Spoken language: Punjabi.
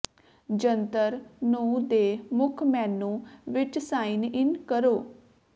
ਜੰਤਰ ਨੂੰ ਦੇ ਮੁੱਖ ਮੇਨੂ ਵਿੱਚ ਸਾਈਨ ਇਨ ਕਰੋ